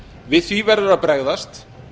við því verður að bregðast